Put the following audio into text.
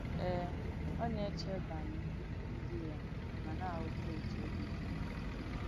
Eè, ọ̀ nà-èchè bànyè ndí yà mà nà-àghọ́tà òtú òbì dì ànyị̣.”